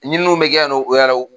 Ɲininiw bɛ kɛ yan nɔ o yɛrɛw